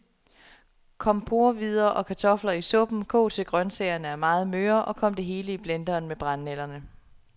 Kom porrehvider og kartofler i suppen, kog til grøntsagerne er meget møre, og kom det hele i blenderen med brændenælderne.